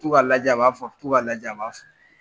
To ka lajɛ a b'a to ka lajɛ a b'a